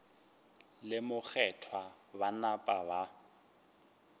le mokgethwa ba napa ba